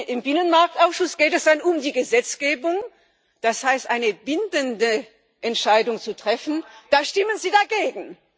Im Binnenmarktausschuss geht es dann um die Gesetzgebung, das heißt darum, eine bindende Entscheidung zu treffen, da stimmen Sie dagegen.